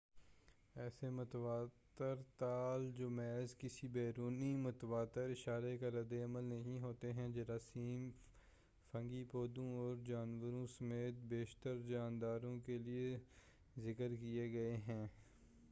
ایسے متواتر تال جو محض کسی بیرونی متواتر اشارے کا ردعمل نہیں ہوتے ہیں جراثیم فنگی پودوں اور جانوروں سمیت بیشتر جانداروں کے لئے ذکر کیے گئے ہیں